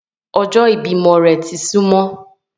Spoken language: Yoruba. Ọjọ́ ìbímọ rẹ̀ ti ń súmọ́